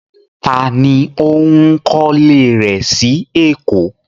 Tá ní ó ń kọ́lé rẹ sí Èkó?